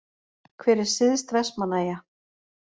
Hver er syðst Vestmannaeyja?